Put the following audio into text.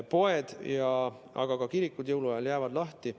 Poed, aga ka kirikud jäävad jõuluajal lahti.